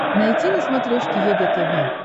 найти на смотрешке егэ тв